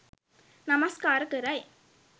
නමස්කාර කරයි.